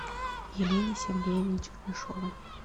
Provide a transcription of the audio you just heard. елене сергеевне чернышовой